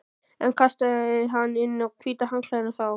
En kastaði hann inn hvíta handklæðinu þá?